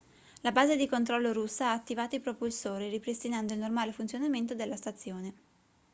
la base di controllo russa ha attivato i propulsori ripristinando il normale funzionamento della stazione